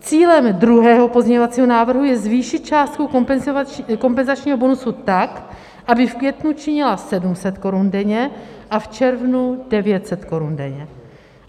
Cílem druhého pozměňovacího návrhu je zvýšit částku kompenzačního bonusu tak, aby v květnu činila 700 korun denně a v červnu 900 korun denně.